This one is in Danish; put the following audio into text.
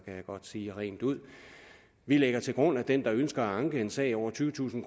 jeg godt sige rent ud vi lægger til grund at den der ønsker at anke en sag over tyvetusind